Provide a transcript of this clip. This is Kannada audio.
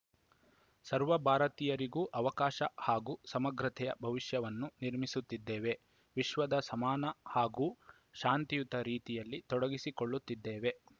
ಸರ್ವ ಭಾರತೀಯರಿಗೂ ಅವಕಾಶ ಹಾಗೂ ಸಮಗ್ರತೆಯ ಭವಿಷ್ಯವನ್ನು ನಿರ್ಮಿಸುತ್ತಿದ್ದೇವೆ ವಿಶ್ವದ ಸಮಾನ ಹಾಗೂ ಶಾಂತಿಯುತ ರೀತಿಯಲ್ಲಿ ತೊಡಗಿಸಿಕೊಳ್ಳುತ್ತಿದ್ದೇವೆ